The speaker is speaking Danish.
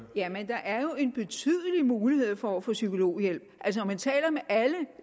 jamen der er jo en betydelig mulighed for at få psykologhjælp